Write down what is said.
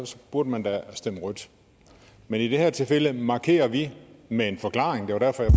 burde man da stemme rødt men i det her tilfælde markerer vi med en forklaring det var derfor jeg